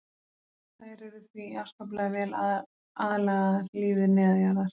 Þær eru því afskaplega vel aðlagaðar lífi neðanjarðar.